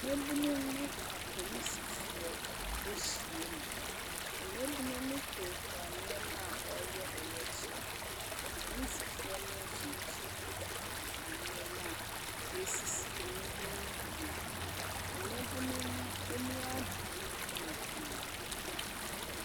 Mmaabunu ne apolisifoɔ ahyia mu, mmaabunu no kurakura nneɛma wɔreyɛ ɔyɛkyerɛ, apolisifoɔ no nso kitakita nneɛma a ɛresi mmaabunu no kwan. Mmaabunu no ani abere yie pa ara.